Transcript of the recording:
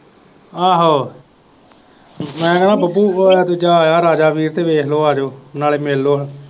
ਆਹੋ ਮੈਂ ਕਹਿਣਾ ਬੱਬੂ ਉਹ ਦੂਜਾ ਆਇਆ ਰਾਜਾ ਵੀਰ ਤੇ ਵੇਖ ਲੋ ਆਜੋ ਨਾਲੇ ਮਿਲ ਲੋ।